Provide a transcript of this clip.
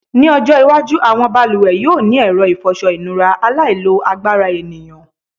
Ní ọjọ́́-iwájú àwọn balùwẹ̀ yóò ní ẹ̀rọ ìfọṣọ-ìnura aláìlo-agbára ènìyàn.